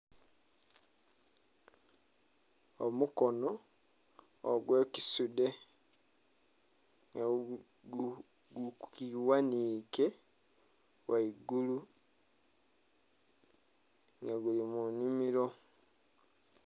Omukono ogwekisudhe gugighanhike ghaigulu nga guli munhimiro.